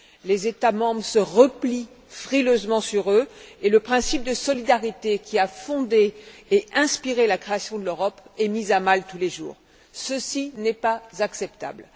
Les États membres se replient frileusement sur eux et le principe de solidarité, qui a fondé et inspiré la création de l'Europe, est mis à mal tous les jours. Ceci n'est pas acceptable.